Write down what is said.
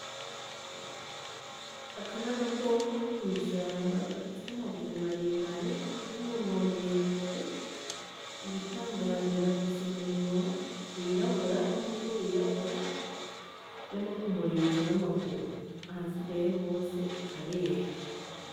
Aka ni agakoko ko mw'ishamba gafise amaguru maremare n'umunwa muremure igitangaje gafise umunwa w'irabura numutwe w'irabura be no kumurizo n'amaguru ahasigaye hose harera.